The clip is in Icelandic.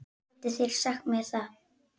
Getið þið sagt mér það?